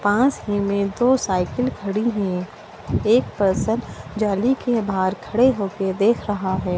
पास मे ही दो साइकिल खड़ी हैं एक पर्सन जाली के बाहर खड़े हो कर देख रहा है।